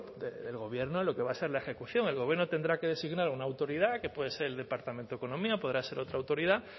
del gobierno en lo que va a ser la ejecución el gobierno tendrá que designar una autoridad que puede ser el departamento de economía podrá ser otra autoridad